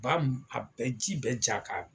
Ba ninnu a bɛ ji bɛɛ ja ka